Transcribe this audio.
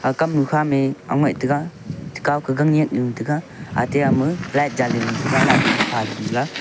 ag kam nu kha mey aungaih taiga chakhau kah ganak nu taga ate ama light jaley ley nu taga light phaley nu la.